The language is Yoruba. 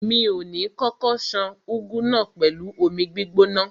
Mi ò ní kókó ṣan úgú náà pẹ̀lú omi gbígbóná.